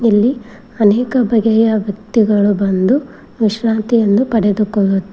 ಅನೇಕ ಬಗೆಯ ವ್ಯಕ್ತಿಗಳು ಬಂದು ವಿಶ್ರಾಂತಿಯನ್ನು ಪಡೆದುಕೊಳ್ಳು--